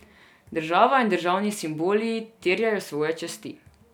Država in državni simboli terjajo svoje časti.